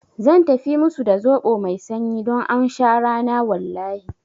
Zan tafi musu da zoɓo mai sanyi don aun sha rana wallahi